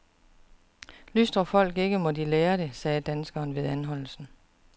Lystrer folk ikke, må de lære det, sagde danskeren ved anholdelsen.